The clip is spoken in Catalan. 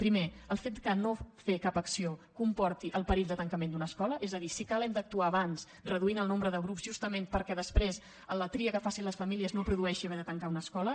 primer el fet que no fer cap acció comporti el perill de tancament d’una escola és a dir si cal hem d’actuar abans reduint el nombre de grups justament perquè després la tria que facin les famílies no produeixi haver de tancar una escola